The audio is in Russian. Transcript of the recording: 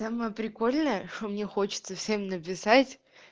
самая прикольная что мне хочется всем написать